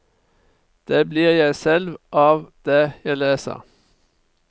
Det blir jeg selv av det jeg leser.